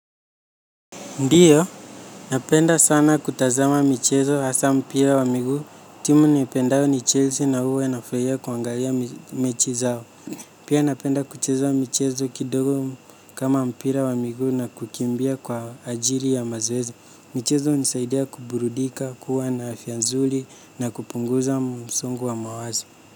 Ndiyo, napenda sana kutazama michezo hasaa mpira wa miguu. Timu niipendayo ni Chelsea na uwa nafraia kuangalia mechi zao. Pia napenda kucheza michezo kidogo kama mpira wa miguu na kukimbia kwa ajiri ya mazoezi. Michezo unisaidia kuburudika, kuwa na afya nzuli na kupunguza msungu wa mawazo.